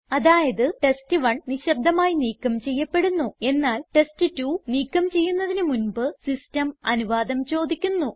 അതായത് ടെസ്റ്റ്1 നിശബ്ദമായി നീക്കം ചെയ്യപ്പെടുന്നു എന്നാൽ ടെസ്റ്റ്2 നീക്കം ചെയ്യുന്നതിന് മുൻപ് സിസ്റ്റം അനുവാദം ചോദിക്കുന്നു